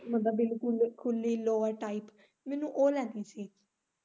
ਬੰਦਾ ਬਿਲਕੁਲ ਖੁੱਲੀ lawyer type ਮੈਨੂੰ ਉਹ ਲੈਣੀ ਸੀ।